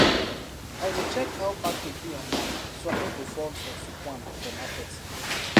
i dey check how package be online so i no go fall for fake one for market